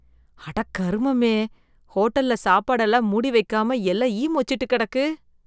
அட கருமமே! ஹோட்டல்ல சாப்பாடெல்லாம் மூடி வைக்காமல் எல்லாம் ஈ மொச்சிட்டு கிடக்கு.